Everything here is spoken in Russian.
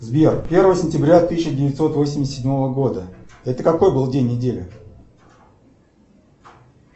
сбер первое сентября тысяча девятьсот восемьдесят седьмого года это какой был день недели